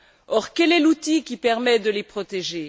Or, quel est l'outil qui permet de les protéger?